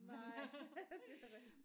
Nej det er